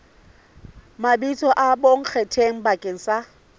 mabitso a bonkgetheng bakeng sa